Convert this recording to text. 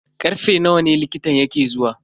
Karfe nawa ne likitan yake zuwa?